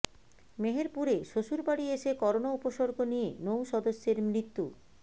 মেহেরপুরে শ্বশুরবাড়ি এসে করোনা উপসর্গ নিয়ে নৌ সদস্যের মৃত্যু